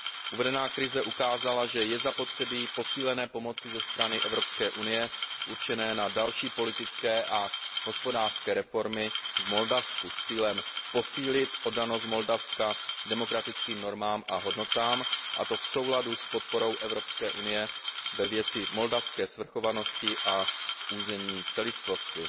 Uvedená krize ukázala, že je zapotřebí posílené pomoci ze strany Evropské unie určené na další politické a hospodářské reformy v Moldavsku s cílem posílit oddanost Moldavska demokratickým normám a hodnotám, a to v souladu s podporou Evropské unie ve věci moldavské svrchovanosti a územní celistvosti.